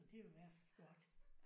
Så det er jo i hvert fald godt